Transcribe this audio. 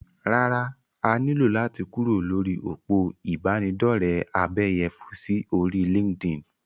Rárá, a ní lò láti kúrò lórí òpó ìbánidọ́rẹ̀ abẹ́yẹfò sí orí LinkedIn.